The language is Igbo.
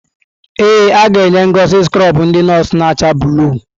Ee, aga-enye Ngozi skrọbụ ndị nọọsụ na-acha blụu.